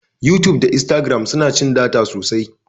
yutub da instagram suna cin data sosai